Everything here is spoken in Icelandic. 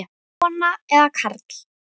Kona eða karl?